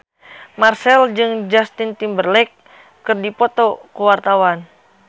Marchell jeung Justin Timberlake keur dipoto ku wartawan